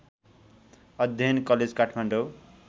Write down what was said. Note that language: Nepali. अध्ययन कलेज काठमाडौँ